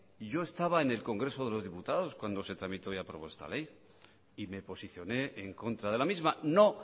yo estaba en el congreso de los diputados cuando se tramitó y aprobó esta ley y me posicioné en contra de la misma no